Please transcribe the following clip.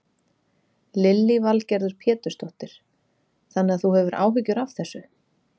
Lillý Valgerður Pétursdóttir: Þannig að þú hefur áhyggjur af þessu?